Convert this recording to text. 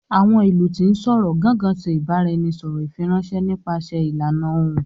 Awọn ilu ti n sọrọ"Gangan" ṣe ibaraẹnisọrọ ifiranṣẹ nípasẹ ìlànà Ohùn